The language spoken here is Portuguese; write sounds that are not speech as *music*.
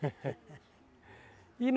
*laughs* E